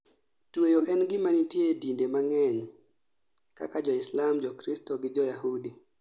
Tweyo en gima nitie e dinde mang'eny kaka joislam, jokristo gi joyahudi